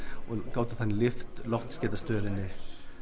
gátum þannig lyft loftskeytastöðinni